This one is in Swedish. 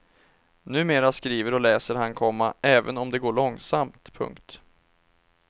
Numera skriver och läser han, komma även om det går långsamt. punkt